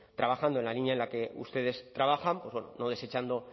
trabajando en la línea en la que ustedes trabajan pues bueno no desechando